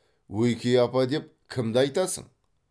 ойке апа деп кімді айтасың